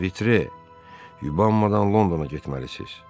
Vitre, yubanmadan Londona getməlisiz.